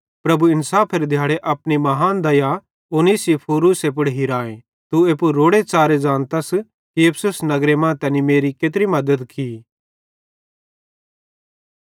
प्रभु इन्साफेरे दिहाड़े अपनी महान दया उनेसिफुरूसे पुड़ हिराए तू एप्पू रोड़े च़ारे ज़ानतस कि इफिसुस नगरे मां तैनी मेरी केत्री मद्दत की